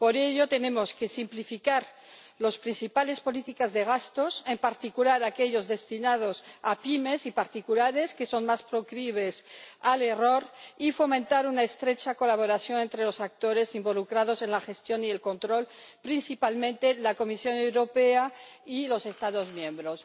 Por ello tenemos que simplificar las principales políticas de gastos, en particular aquellos destinados a pymes y particulares, que son más proclives al error, y fomentar una estrecha colaboración entre los actores involucrados en la gestión y el control, principalmente la Comisión Europea y los Estados miembros.